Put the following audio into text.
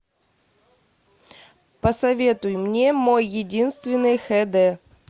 посоветуй мне мой единственный хд